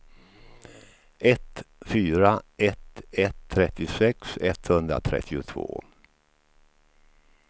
ett fyra ett ett trettiosex etthundratrettiotvå